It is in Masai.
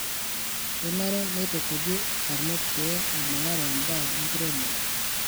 Kenare neitukuji barnot pee eibungare mbaa enkiremore.